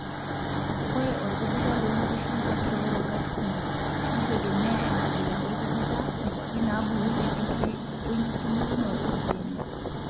Ore orkujita lonkishu naa keoro kaat kumok neitegemea enkabila orkujita, nkwapi nabulunyie wenkitubulunoto sii enye.